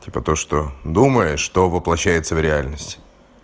типа то что думаешь то воплощается в реальность